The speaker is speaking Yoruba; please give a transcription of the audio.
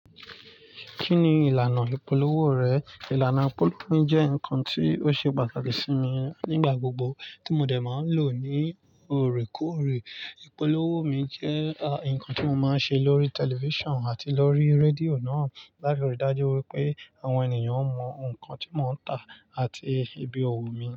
Kí ni ìlànà ìpolówó rẹ̀? Ìlànà ìpolówó mi jẹ́ nǹkan tí ó ṣe pàtàkì sí mi nígbà gbogbo tí mo dè ẹ́ máa ń lò ní òrèkóòrè. Ìpolówó mi jẹ́ nǹkan tí mo máa ń ṣe lórí tẹlifíṣàn àti lórí rédíò náà láti ríi dájú wípé àwọn ènìyàn ó mọ ǹkan tí mo ń tà àti ibi owó mi.